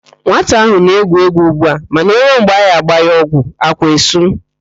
Nwata ahụ na-egwu égwú ugbu a mana o ruo mgbe a ga-agba ya ọgwụ, ákwá esu.